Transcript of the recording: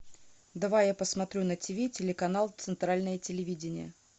давай я посмотрю на тиви телеканал центральное телевидение